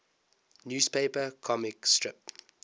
newspaper comic strip